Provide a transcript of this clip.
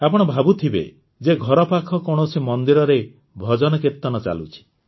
ଆପଣ ଭାବୁଥିବେ ଯେ ଘର ପାଖ କୌଣସି ମନ୍ଦିରରେ ଭଜନକୀର୍ତନ ଚାଲୁଛି